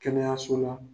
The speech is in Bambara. Kɛnɛyaso la